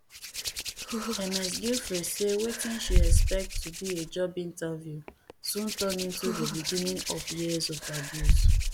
ms giuffre say wetin she expect to be a job interview soon turn into di beginning of years of abuse